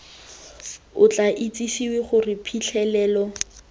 o tla itsisiwe gore phitlhelelo